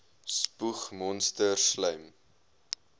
spoeg monsters slym